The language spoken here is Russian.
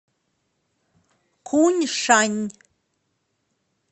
куньшань